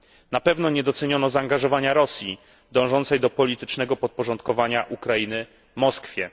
Na pewno nie doceniono zaangażowania Rosji dążącej do politycznego podporządkowania Ukrainy Moskwie.